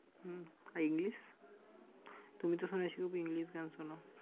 হম আর english? তুমি তো শুনেছি খুব english গান শুনো।